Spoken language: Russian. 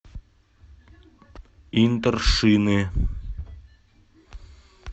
интершины